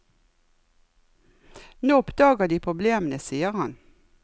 Nå oppdager de problemene, sier han.